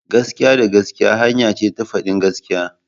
Gaskiya da gaskiya hanya ce ta fadin gaskiya.